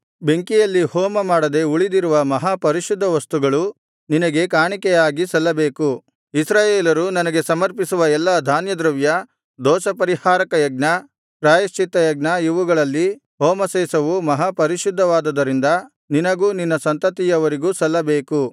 ಬೆಂಕಿಯಲ್ಲಿ ಹೋಮಮಾಡದೆ ಉಳಿದಿರುವ ಮಹಾ ಪರಿಶುದ್ಧ ವಸ್ತುಗಳು ನಿನಗೆ ಕಾಣಿಕೆಯಾಗಿ ಸಲ್ಲಬೇಕು ಇಸ್ರಾಯೇಲರು ನನಗೆ ಸಮರ್ಪಿಸುವ ಎಲ್ಲಾ ಧಾನ್ಯದ್ರವ್ಯ ದೋಷಪರಿಹಾರಕ ಯಜ್ಞ ಪ್ರಾಯಶ್ಚಿತ್ತಯಜ್ಞ ಇವುಗಳಲ್ಲಿ ಹೋಮಶೇಷವು ಮಹಾಪರಿಶುದ್ಧವಾದುದರಿಂದ ನಿನಗೂ ನಿನ್ನ ಸಂತತಿಯವರಿಗೂ ಸಲ್ಲಬೇಕು